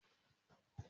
Mo fẹ́ ra ẹ̀rọ ìdáná oníná.